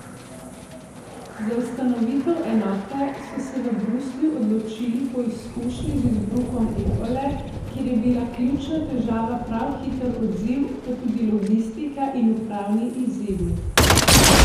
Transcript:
Za ustanovitev enote so se v Bruslju odločili po izkušnji z izbruhom ebole, kjer je bila ključna težava prav hiter odziv, pa tudi logistika in upravni izzivi.